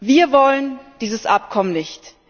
Wir wollen dieses Abkommen nicht!